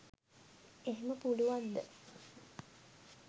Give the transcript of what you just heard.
එහෙම පුළුවන්ද